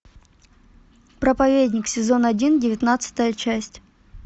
проповедник сезон один девятнадцатая часть